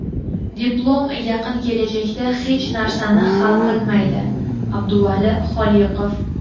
"Diplom yaqin kelajakda hech narsani hal qilmaydi" — Abduvali Xoliqov.